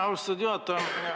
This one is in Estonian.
Austatud juhataja!